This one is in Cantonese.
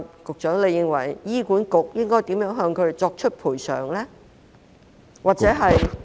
局長，你認為醫管局應如何向她們作出賠償？